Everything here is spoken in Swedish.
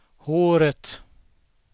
håret